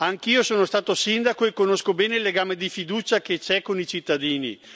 Anch'io sono stato sindaco e conosco bene il legame di fiducia che c'è con i cittadini.